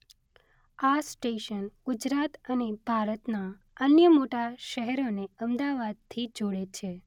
આ સ્ટેશન ગુજરાત અને ભારતનાં અન્ય મોટા શહેરોને અમદાવાદથી જોડે છે.